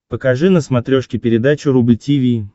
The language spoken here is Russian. покажи на смотрешке передачу рубль ти ви